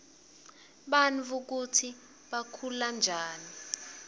bantfu kutsi bakhulanjani